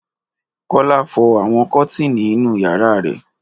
Kọ́lá fọ àwọn kọ́tíìnì inú ìyàrá rẹ̀.